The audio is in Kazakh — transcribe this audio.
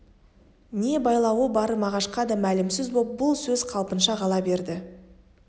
не байлауы бары мағашқа да мәлімсіз боп бұл сөз қалпынша қала берді